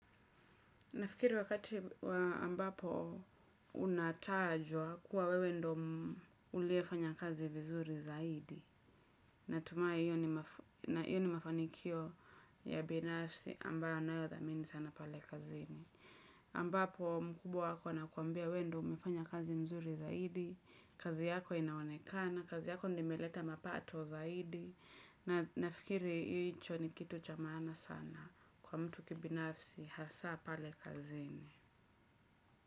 Nafikiri wakati ambapo unatajwa kuwa wewe ndo uliyefanya kazi vizuri zaidi. Natumai hiyo ni mafanikio ya binafsi ambayo nayadhamini sana pale kazini. Ambapo mkubwa wako anakuambia wewe ndo umefanya kazi mzuri zaidi, kazi yako inaonekana, kazi yako ndio imeleta mapato zaidi. Nafikiri hicho ni kitu cha maana sana kwa mtu kibinafsi hasaa pale kazini.